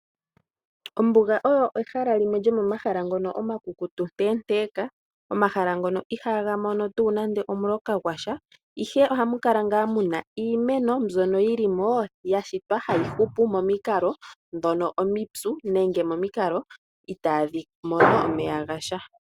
Ombuga oyo ehala limwe lyomomahala ngono omakukutu nteenteka. Omahala ngono ihaaga mono tuu nande omuloka gwasha ihe ohamu kala ngaa mu na iimeno mbyono yili mo ya shitwa hayi hupu momikal ndhono omipyu nenge momikalo itaadhi mono omeya gasha